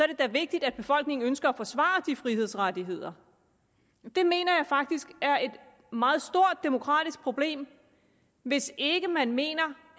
det da vigtigt at befolkningen ønsker at forsvare de frihedsrettigheder jeg mener faktisk er et meget stort demokratisk problem hvis ikke man mener